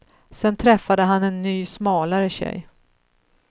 Sen träffade han en ny smalare tjej.